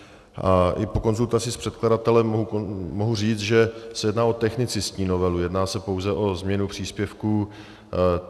A i po konzultaci s předkladatelem mohu říct, že se jedná o technicistní novelu, jedná se pouze o změnu příspěvků.